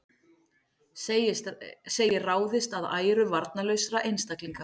Segir ráðist að æru varnarlausra einstaklinga